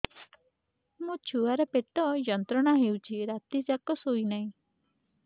ମୋ ଛୁଆର ପେଟ ଯନ୍ତ୍ରଣା ହେଉଛି ରାତି ଯାକ ଶୋଇନାହିଁ